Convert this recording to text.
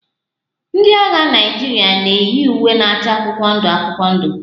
Ndị agha Naịjirịa na-eyi uwe na-acha akwụkwọ ndụ akwụkwọ ndụ